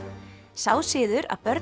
sá siður að börn